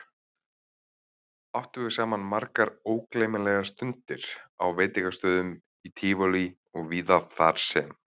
Áttum við saman margar ógleymanlegar stundir á veitingastöðum í Tívolí og víðar þarsem